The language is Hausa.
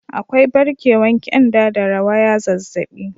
Akwai barkewan kyanda da rawaya zazzabi.